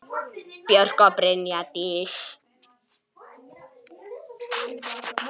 Björk og Brynja Dís.